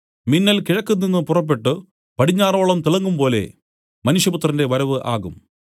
മിന്നൽ കിഴക്ക് നിന്നു പുറപ്പെട്ടു പടിഞ്ഞാറോളം തിളങ്ങുംപോലെ മനുഷ്യപുത്രന്റെ വരവ് ആകും